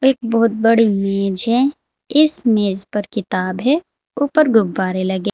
एक बहुत बड़ी मेज है इस मेज पर किताब है ऊपर गुब्बारे लगे--